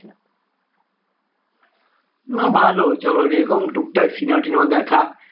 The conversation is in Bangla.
না ভালো চলো এরকম টুকটাক cinema টিনেমা দেখা